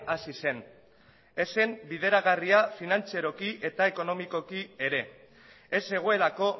hasi zen ez zen bideragarri finantzeroki eta ekonomikoki ere ez zegoelako